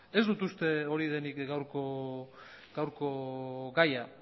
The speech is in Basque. ez dut uste hori denik gaurko gaia